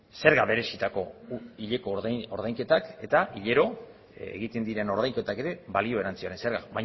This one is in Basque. zerga berezitako guk hileko ordainketak eta hilero egiten diren ordainketak ere balio erantsiaren zergan